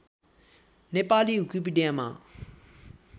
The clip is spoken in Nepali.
नेपाली विकिपिडियामा